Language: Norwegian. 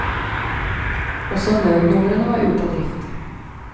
Også nødnumrene var ute av drift.